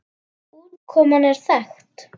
Útkoman er þekkt.